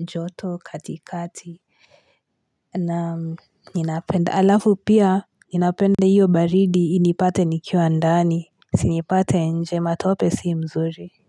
joto katikati nam ninapenda halafu pia ninapenda hiyo baridi inipate nikiwa ndani isinipate nje matope si mzuri.